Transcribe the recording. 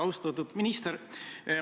Austatud minister!